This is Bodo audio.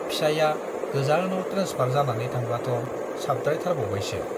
फिसाइया गोजानाव ट्रेन्सफार जानानै थांब्लाथ' साबद्रायथारबावबायसो।